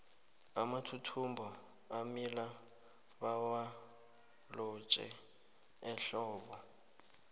amathuthumbo amila bawalotjhe ehlobo